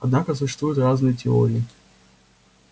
однако существуют разные теории